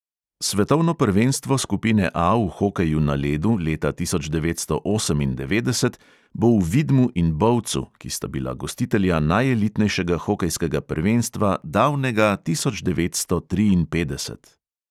Svetovno prvenstvo skupine A v hokeju na ledu leta tisoč devetsto osemindevetdeset bo v vidmu in bovcu, ki sta bila gostitelja najelitnejšega hokejskega prvenstva davnega tisoč devetsto triinpetdeset.